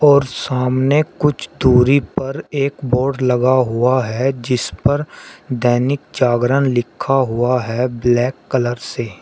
और सामने कुछ दूरी पर एक बोर्ड लगा हुआ है जिसपर दैनिक जागरण लिखा हुआ है ब्लैक कलर से।